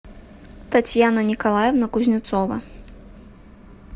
татьяна николаевна кузнецова